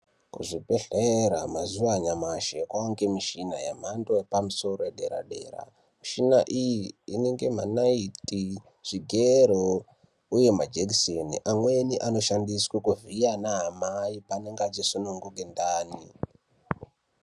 Kuzvibhedhlera mazuwa anyamashi kwaangemushina yemhando yepamusoro yedera-dera. Mishina iyi inenge manaiti, zvigero, uye majekiseni. Amweni ano shandiswe kuvhiya anamai paanenge achisununguke ndani.